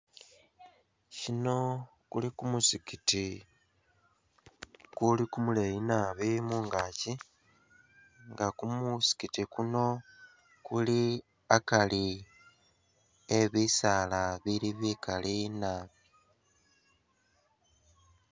Kuno kuli kumuzikiti kuli kumuleyi nabi mungaaki nga kumuzikiti kuno kuli akari e bisaala bili bikli nabi